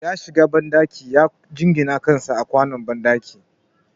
Ya shiga banɗaki ya jingine kansa a kwanon banɗaki